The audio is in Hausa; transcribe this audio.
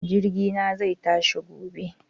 Jirgi na zai tashi gobe